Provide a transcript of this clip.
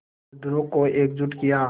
मज़दूरों को एकजुट किया